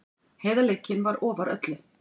Heiðarleikinn var ofar öllu.